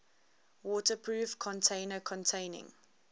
waterproof container containing